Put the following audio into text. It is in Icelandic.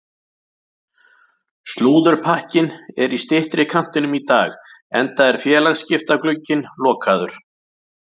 Slúðurpakkinn er í styttri kantinum í dag enda er félagaskiptaglugginn lokaður.